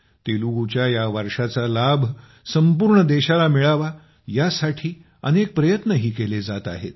तेलुगूच्या या वारशाचा लाभ संपूर्ण देशाला मिळावा यासाठी अनेक प्रयत्नही केले जात आहेत